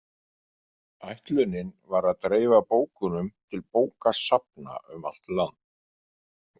Ætlunin var að dreifa bókunum til bókasafna um allt land.